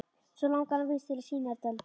Svo langar hann víst til að sýna þér dálítið.